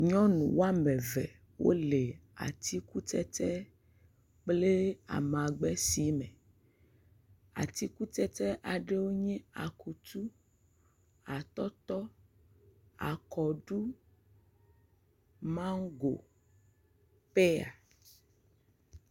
Nyɔnu wo am eve le atikutsetse kple amagbesime. Atikutsetse aɖewo nye akutu, atɔtɔ, akɔɖu, maŋgo, peya